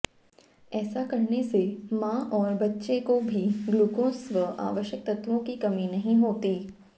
ऐसा करने से मां और बच्चेको भी ग्लूकोज व आवश्यक तत्वों की कमी नहीं होती